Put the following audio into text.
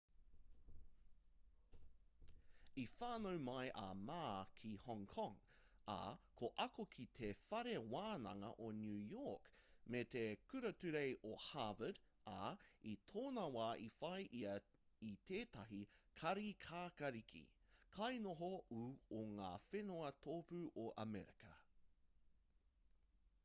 i whānau mai a ma ki hong kong ā ka ako ki te whare wānanga o new york me te kura ture o harvard ā i tōna wā i whai ia i tētahi kāri kākāriki kainoho ū o ngā whenua tōpū o amerika